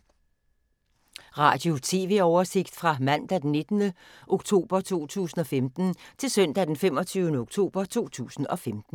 Radio/TV oversigt fra mandag d. 19. oktober 2015 til søndag d. 25. oktober 2015